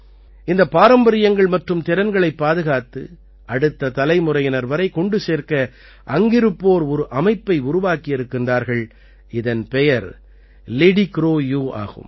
இந்தப் பாரம்பரியங்கள் மற்றும் திறன்களைப் பாதுகாத்து அடுத்த தலைமுறையினர் வரை கொண்டு சேர்க்க அங்கிருப்போர் ஒரு அமைப்பை உருவாக்கியிருக்கின்றார்கள் இதன் பெயர் லிடிக்ரோயூ ஆகும்